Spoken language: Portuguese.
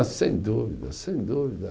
Ah, sem dúvida, sem dúvida.